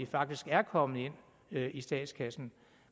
faktisk er kommet ind i statskassen